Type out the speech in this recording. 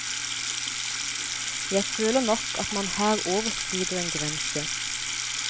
Jeg føler nok at man her overskrider en grense.